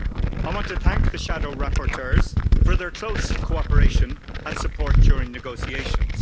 I want to thank the shadow rapporteurs for their close cooperation and support during negotiations.